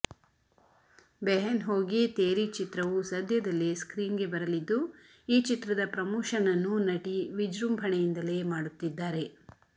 ಬೆಹೆನ್ ಹೋಗಿ ತೇರಿ ಚಿತ್ರವು ಸದ್ಯದಲ್ಲೇ ಸ್ಕ್ರೀನ್ಗೆ ಬರಲಿದ್ದು ಈ ಚಿತ್ರದ ಪ್ರಮೋಶನ್ ಅನ್ನು ನಟಿ ವಿಜೃಂಭಣೆಯಿಂದಲೇ ಮಾಡುತ್ತಿದ್ದಾರೆ